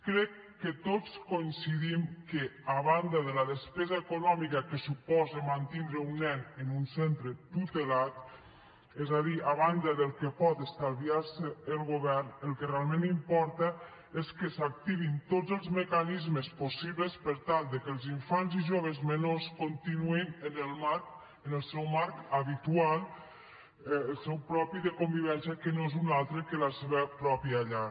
crec que tots coincidim que a banda de la despesa econòmica que suposa mantindre un nen en un centre tutelat és a dir a banda del que pot estalviar se el govern el que realment importa és que s’activin tots els mecanismes possibles per tal que els infants i joves menors continuïn en el seu marc habitual el seu propi de convivència que no és un altre que la seva pròpia llar